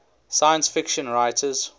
science fiction writers